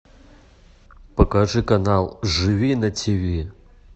покажи канал живи на ти ви